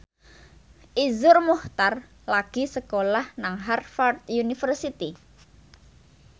Iszur Muchtar lagi sekolah nang Harvard university